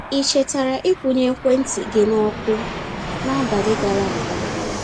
Ị chetara ị kwụnye ekwentị gị n'ọkụ n’abalị gara aga?